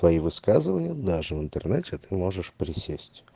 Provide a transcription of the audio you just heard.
твои высказывания даже в интернете а ты можешь присесть